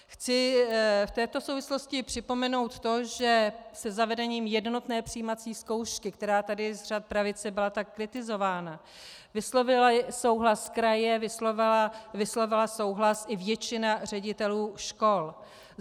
Chci v této souvislosti připomenout to, že se zavedením jednotné přijímací zkoušky, která tady z řad pravice byla tak kritizována, vyslovily souhlas kraje, vyslovila souhlas i většina ředitelů škol.